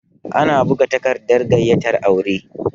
Ana buga takardar gayyatar aure